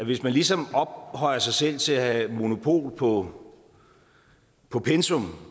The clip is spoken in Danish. hvis man ligesom ophøjer sig selv til at have monopol på på pensum